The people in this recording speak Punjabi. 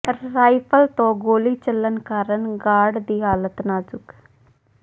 ਰਾਈਫਲ ਤੋਂ ਗੋਲੀ ਚੱਲਣ ਕਾਰਨ ਗਾਰਡ ਦੀ ਹਾਲਤ ਨਾਜ਼ੁਕ